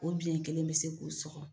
O biyɛn kelen bi se k'u sɔgɔ